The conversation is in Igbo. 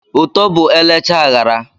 Ụtọ bụ elechaa aghara